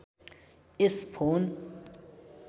यस phone